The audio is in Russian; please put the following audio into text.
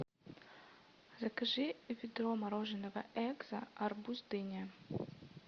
закажи ведро мороженого экзо арбуз дыня